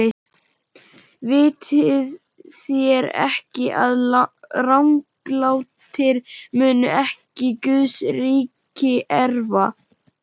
Vitið þér ekki, að ranglátir munu ekki Guðs ríki erfa?